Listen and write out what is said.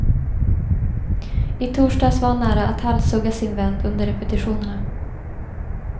I torsdags var han nära att halshugga sin vän under repetitionerna.